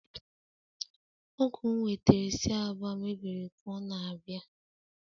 Ọgu nwetere si Aba lmebiri ka ọ na-abịa.